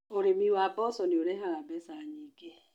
Ũrĩmi wa mboga nĩ ũrehaga mbeca nyingĩ.